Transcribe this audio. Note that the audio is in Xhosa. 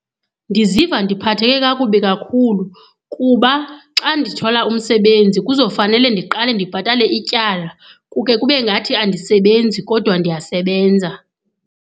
Ndiziva ndiphatheke kakubi kakhulu kuba xa ndithola umsebenzi kuzofanele ndiqale ndibhatale ityala. Kuke kube ngathi andisebenzi kodwa ndiyasebenza.